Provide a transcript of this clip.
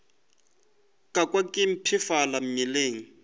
ka kwa ke mpshafala mmeleng